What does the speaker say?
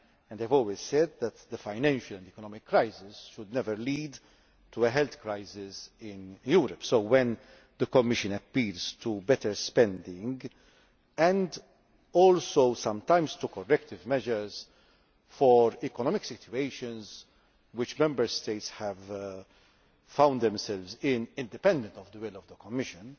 I have always said that the financial and economic crisis should never lead to a health crisis in Europe, so when the Commission calls for better spending and also sometimes for corrective measures for economic situations which Member States have found themselves in independently of the will of the Commission,